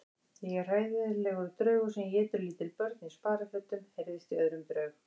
Ég er hræðilegur draugur sem étur lítil börn í sparifötum heyrðist í öðrum draug.